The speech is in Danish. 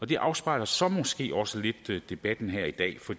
det afspejler så måske også lidt debatten her i dag for